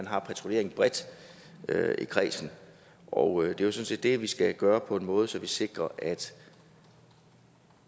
har patruljering bredt i kredsen og det er sådan set det vi skal gøre på en måde så vi sikrer